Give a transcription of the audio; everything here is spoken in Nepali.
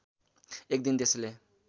एक दिन त्यसले